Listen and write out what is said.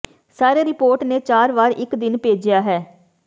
ਸਾਰੇ ਰਿਪੋਰਟ ਨੇ ਚਾਰ ਵਾਰ ਇੱਕ ਦਿਨ ਭੇਜਿਆ ਹੈ